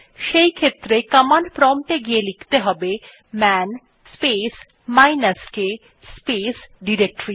সেইক্ষেত্রে command prompt এ গিয়ে লিখতে হবে man space minus k space directories